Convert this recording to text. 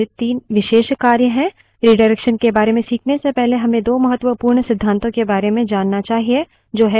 redirection के बारे में खीखने से पहले हमें दो महत्वपूर्ण सिद्धातों के बारे में जानना चाहिए जो है stream और file descriptor विवरणक